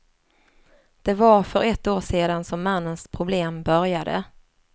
Det var för ett år sedan som mannens problem började.